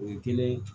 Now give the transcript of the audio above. O ye kelen